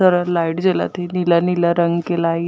सारा light जलत हे नीला-नीला रंग के लाइट --